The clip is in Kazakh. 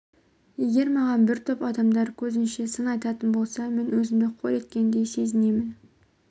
егер маған бір топ адамдар көзінше сын айтатын болса мен өзімді қор еткендей сезінемін